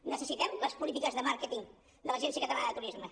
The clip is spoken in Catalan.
necessitem les polítiques de màrqueting de l’agència catalana de turisme